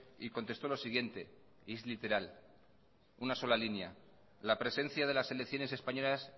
y contestó lo siguiente y es literal la presencia de las selecciones españolas